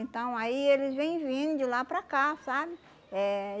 Então aí eles vêm vindo de lá para cá, sabe? Eh